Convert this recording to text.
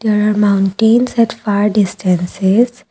there are mountains at far distances.